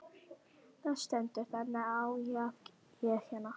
Það stendur þannig á að ég hérna.